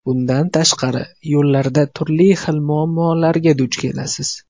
Bundan tashqari, yo‘llarda turli xil muammolarga duch kelasiz.